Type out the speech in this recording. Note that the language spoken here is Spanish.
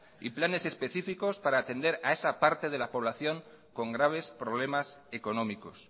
y planes específicos para atender a esa parte de la población con graves problemas económicos